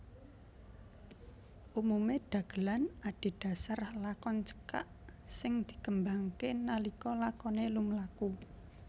Umumé dagelan adhedhasar lakon cekak sing dikembangké nalika lakoné lumlaku